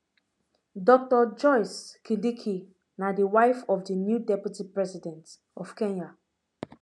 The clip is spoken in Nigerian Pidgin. dr joyce kindiki na di wife of di new deputy president of kenya